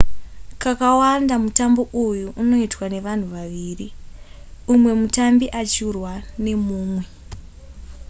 kakawanda mutambo uyu unoitwa nevanhu vaviri umwe mutambi achirwa nemumwe